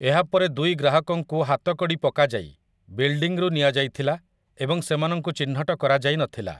ଏହା ପରେ ଦୁଇ ଗ୍ରାହକଙ୍କୁ ହାତକଡ଼ି ପକାଯାଇ ବିଲ୍ଡିଂରୁ ନିଆଯାଇଥିଲା ଏବଂ ସେମାନଙ୍କୁ ଚିହ୍ନଟ କରାଯାଇ ନଥିଲା ।